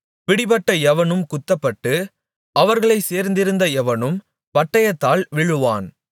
பிடிபட்ட எவனும் குத்தப்பட்டு அவர்களைச் சேர்ந்திருந்த எவனும் பட்டயத்தால் விழுவான்